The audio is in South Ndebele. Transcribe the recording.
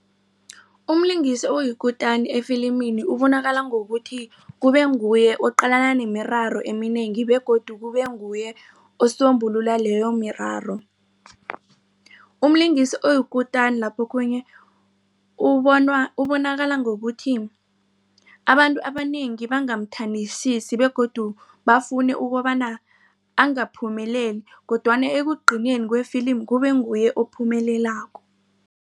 Umlingisi oyikutani efilimini ubonakala ngokuthi kubenguye oqalana nemiraro eminengi begodu kubenguye osombululo leyo miraro. Umlingisi oyikutani lapho okhunye ubonanakala ngokuthi abantu abanengi bangamthandisisi begodu bafune ukobana angaphumeleli kodwana ekugcineni kwefilimi kubenguye ophumelelako.